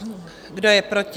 Kdo je proti?